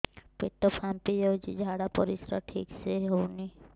ପେଟ ଫାମ୍ପି ଯାଉଛି ଝାଡ଼ା ପରିସ୍ରା ଠିକ ସେ ହଉନି